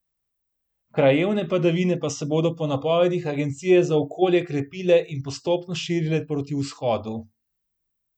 Krajevne padavine pa se bodo po napovedih agencije za okolje krepile in postopno širile proti vzhodu.